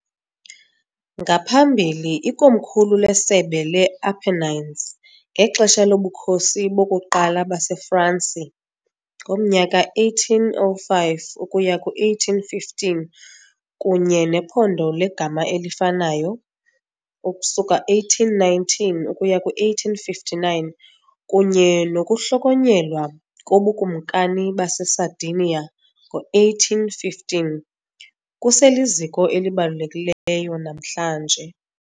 Ngaphambili ikomkhulu leSebe le-Apennines ngexesha loBukhosi bokuQala baseFransi ngomnyaka 1805 ukuya 1815 kunye nephondo legama elifanayo ukusuka 1819 ukuya ku-1859 kunye nokuhlonyelwa koBukumkani baseSardinia ngo-1815, kuseliziko elibalulekileyo namhlanje.